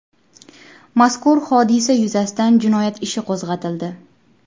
Mazkur hodisa yuzasidan jinoyat ishi qo‘zg‘atildi.